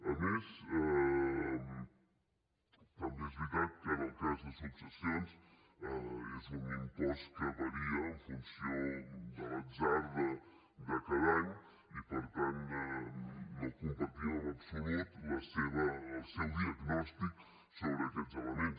a més també és veritat que en el cas de successions és un impost que varia en funció de l’atzar de cada any i per tant no compartim en absolut el seu diagnòstic sobre aquests elements